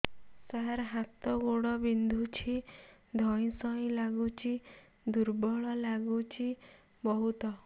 ହାତ ଗୋଡ ବିନ୍ଧୁଛି ଧଇଁସଇଁ ଲାଗୁଚି ଦୁର୍ବଳ ଲାଗୁଚି ବହୁତ